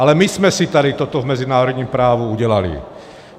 Ale my jsme si tady toto v mezinárodním právu udělali.